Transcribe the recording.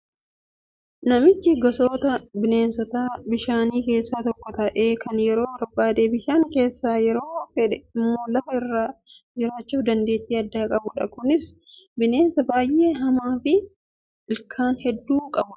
Naachi gosoota bineensota bishaanii keessaa tokko ta'ee kan yeroo barbaade bishaan keessa yeroo fedhe immoo lafa irra jiraachuuf dandeettii addaa qabudha. Kunis bineensa baay'ee hamaa fi ilkaan hedduu kan qabudha.